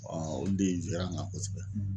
olu de ra n ka kosɛbɛ.